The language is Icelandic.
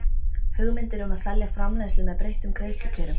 hugmyndir um að selja framleiðslu með breyttum greiðslukjörum.